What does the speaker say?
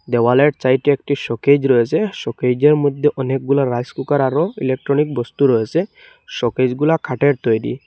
দেওয়ালের চাইটে একটি শোকেজ রয়েসে শোকেইজের মধ্যে অনেকগুলা রাইস কুকার আরো ইলেক্ট্রনিক বস্তু রয়েসে শোকেসগুলা খাঠের তৈরি।